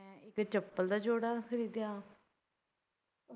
ਤੇ ਚੱਪਲ ਦਾ ਜੋੜਾ ਖਰੀਦਿਆ